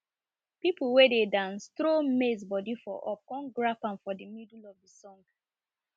people wey dey dance trow maize body for up come grab am for the middle of the song